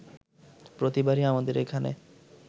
প্রতিবারই আমাদের এখানে